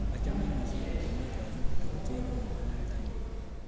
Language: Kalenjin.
Achamin missing, angot yemi kaimutik kocheng'in muguleldanyu